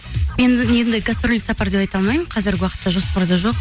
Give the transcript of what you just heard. мен енді гастрольдік сапар деп айта алмаймын қазіргі уақытта жоспарда жоқ